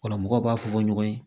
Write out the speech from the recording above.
Ola mɔgɔw b'a fɔ ko ɲɔgɔn ye